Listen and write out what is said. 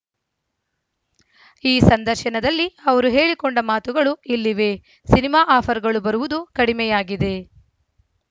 ಈ ಸಂದರ್ಶನದಲ್ಲಿ ಅವರು ಹೇಳಿಕೊಂಡ ಮಾತುಗಳು ಇಲ್ಲಿವೆ ಸಿನಿಮಾ ಆಫರ್‌ಗಳು ಬರುವುದು ಕಡಿಮೆಯಾಗಿದೆ